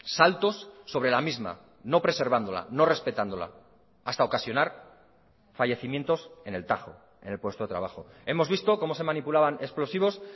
saltos sobre la misma no preservándola no respetándola hasta ocasionar fallecimientos en el tajo en el puesto de trabajo hemos visto cómo se manipulaban explosivos